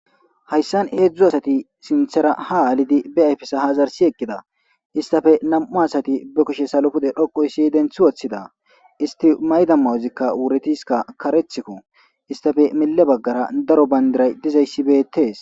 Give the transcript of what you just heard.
hayssan heedzdzu asati sinthera ha aalidi be efesa ha zarsi eqqida istafe nam7u asati be kushe salopude dhoqoy si denthi woththida isti mayda mawuzikka wuretiska karethkko istafe mille baggara daro bayndiray dizayssibetees